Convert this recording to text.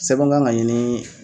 Sɛbɛn kan ka ɲini.